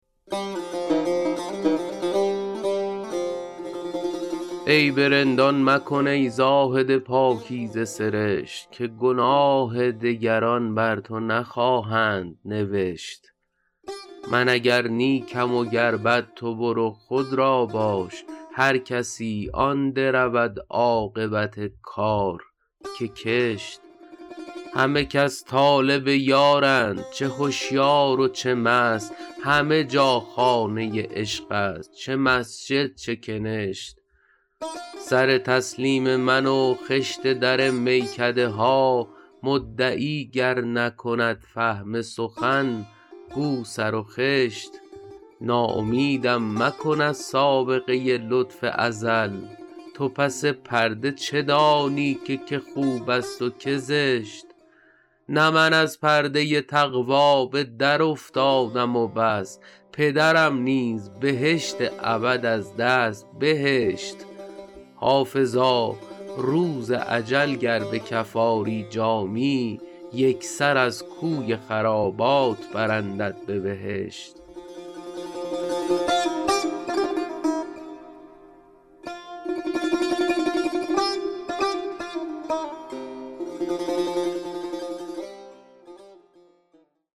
عیب رندان مکن ای زاهد پاکیزه سرشت که گناه دگران بر تو نخواهند نوشت من اگر نیکم و گر بد تو برو خود را باش هر کسی آن درود عاقبت کار که کشت همه کس طالب یارند چه هشیار و چه مست همه جا خانه عشق است چه مسجد چه کنشت سر تسلیم من و خشت در میکده ها مدعی گر نکند فهم سخن گو سر و خشت ناامیدم مکن از سابقه لطف ازل تو پس پرده چه دانی که که خوب است و که زشت نه من از پرده تقوا به درافتادم و بس پدرم نیز بهشت ابد از دست بهشت حافظا روز اجل گر به کف آری جامی یک سر از کوی خرابات برندت به بهشت